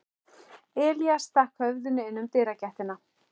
Elías stakk höfðinu inn um dyragættina.